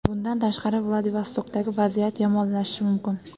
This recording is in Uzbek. Bundan tashqari, Vladivostokdagi vaziyat yomonlashishi mumkin.